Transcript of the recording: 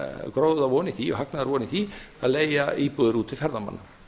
gróðavon í því og hagnaðarvon í því að leigja íbúðir út til ferðamanna